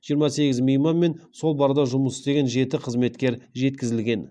жиырма сегіз мейман мен сол барда жұмыс істеген жеті қызметкер жеткізілген